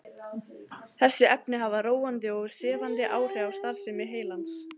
Þessi efni hafa róandi og sefandi áhrif á starfsemi heilans.